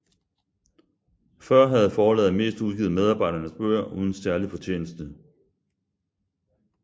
Før havde forlaget mest udgivet medarbejdernes bøger uden særlig fortjeneste